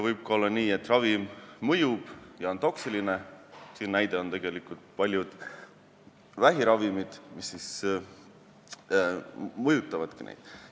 Võib ka olla nii, et ravim mõjub ja on toksiline, selle näide on paljud vähiravimid, mis siis mõjutavadki neid.